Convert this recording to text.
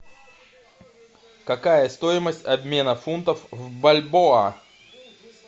какая стоимость обмена фунтов в бальбоа